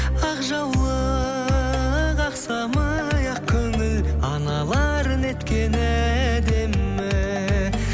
ақ жаулық ақ самай ақ көңіл аналар неткені әдемі